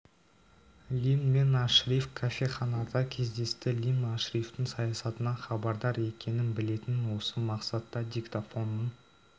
лимн мен ашриф кофеханада кездесті лимн ашрифтің саясатынан хабардар екенін білетінін осы мақсатта диктофонның